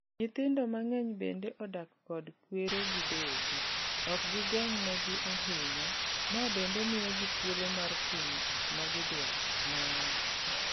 "Nyithindo mang'eny bende odak kod kwere gi deye gi. Okgigeng' ne gi ahinya mabende mio gi thuolo mar timo gik magidwaro." Nowacho.